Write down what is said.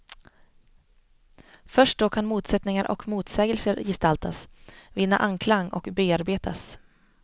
Först då kan motsättningar och motsägelser gestaltas, vinna anklang och bearbetas.